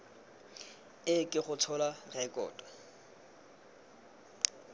e ke go tshola rekoto